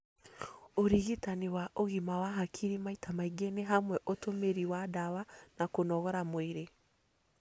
Ũrigitani wa ũgima wa hakiri maita maingĩ nĩ hamwe ũtũmĩri wa ndawa na kũnogora mwĩrĩ,